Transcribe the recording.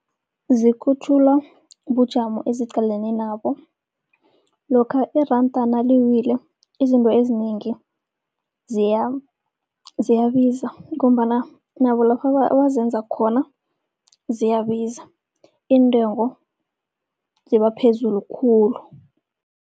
Zikhutjhulwa bujamo eziqalene nabo. Lokha iranda naliwile izinto ezinengi ziyabiza, ngombana nabo lapha abazenza khona ziyabiza iintengo ziba phezulu khulu.